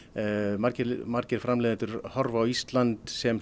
margir margir framleiðendur horfa á Ísland sem